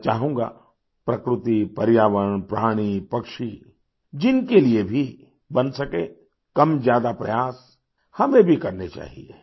मैं चाहूँगा प्रकृति पर्यावरण प्राणी पक्षी जिनके लिए भी बन सके कमज्यादा प्रयास हमें भी करने चाहिए